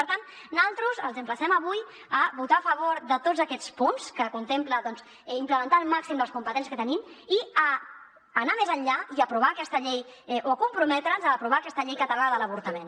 per tant naltros els emplacem avui a votar a favor de tots aquests punts que contemplen implementar al màxim les competències que tenim i a anar més enllà i aprovar aquesta llei o comprometre’ns a aprovar aquesta llei catalana de l’avortament